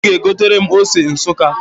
Ị ga-egotere m ose Nsukka